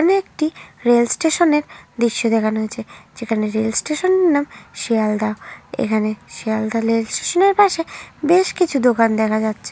এখানে একটি rail station এর দৃশ্য দেখানো হয়েছে। যেখানে রেল স্টেশন এর নাম শিয়ালদা। এখানে শিয়ালদা রেল স্টেশন এর পাশে বেশ কিছু দোকান দেখা যাচ্ছে।